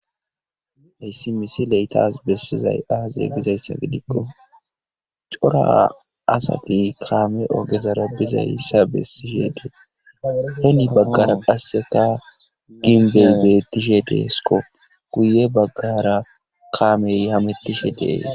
Hayssi misile tas besizay azze gizayssa gidikko cora asati kaame ogezara bizayssa besishe dees. hini bagara qassekka gimbbe beetishe de'eeskko.guye bagara kaame hamutishe de'ees.